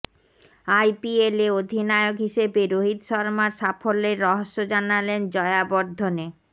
আইপিএলে অধিনায়ক হিসেবে রোহিত শর্মার সাফল্যের রহস্য জানালেন জয়াবর্ধনে